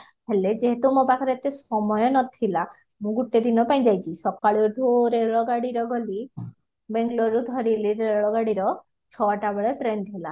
ହେଲେ ଯେହେତୁ ମୋ ପାଖରେ ଏତେ ସମୟ ନଥିଲା ମୁଁ ଗୋଟେ ଦିନ ପାଇଁ ଯାଇଛି ସକାଲୁ ଏଠି ରେଳ ଗାଡିରେ ଗଲି bangloreରୁ ଧରିଲି ରେଳ ଗାଡିର ଛଟା ବେଳେ train ଥିଲା